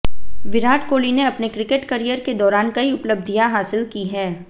विराट कोहली ने अपने cricket career के दाैरान कई उपलब्धियां हासिल की हैं